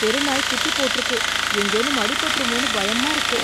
தெருநாய் குட்டி போட்டுறுக்கு எங்கேனும் அடி பட்டுறுமோனு பயமா இருக்கு